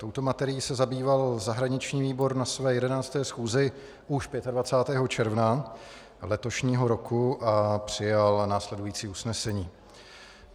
Touto materií se zabýval zahraniční výbor na své 11. schůzi už 25. června letošního roku a přijal následující usnesení.